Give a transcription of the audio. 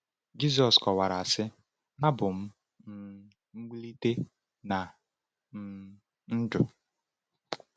Jizọs kọwara sị: “Abụ m um mgbilite na um ndụ.